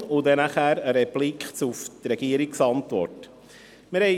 – Darauf folgt eine Replik auf die die Antwort der Regierung.